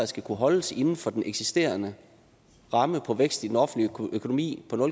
skal kunne holdes inden for den eksisterende ramme for vækst i den offentlige økonomi på